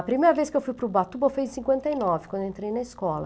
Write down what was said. A primeira vez que eu fui para o Batuba eu fui em cinquenta e nove, quando eu entrei na escola.